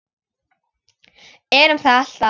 Erum það alltaf.